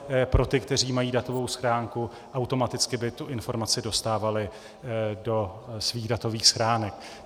Pro ty, kteří mají datovou schránku, automaticky by tu informaci dostávali do svých datových schránek.